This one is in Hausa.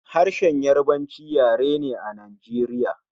Harshen Yarabanci yare ne Najeriya